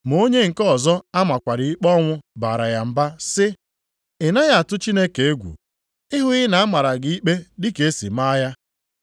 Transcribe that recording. Ma onye nke ọzọ a makwara ikpe ọnwụ baara ya mba sị, “Ị naghị atụ Chineke egwu, ị hụghị na a mara gị ikpe dị ka e si maa ya.